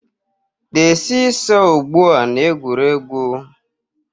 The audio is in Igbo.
The see-saw ugbu a na egwuregwu